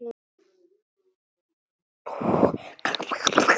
Aðeins þess vegna.